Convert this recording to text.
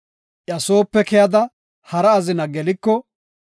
iya soope keyada, hara azina geliko,